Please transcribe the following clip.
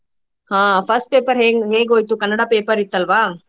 ಆಹ್ first paper ಹೇoಗ್~ ಹೇಗ್ ಹೇಗೋಯ್ತು ಕನ್ನಡ paper ಇತ್ತಲ್ವಾ?